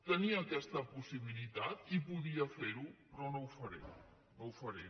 tenia aquesta possibilitat i podia fer·ho però no ho faré no ho faré